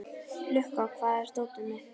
Lukka, hvar er dótið mitt?